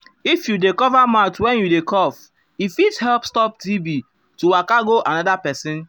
if you dey um cover mouth when you dey um cough e fit help stop tb to waka go another person.